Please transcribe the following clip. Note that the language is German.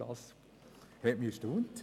Das hat mich erstaunt.